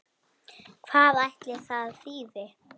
Hvað ætli það þýði?